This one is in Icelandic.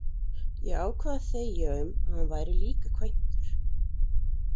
Ég ákvað að þegja um að hann væri líka kvæntur.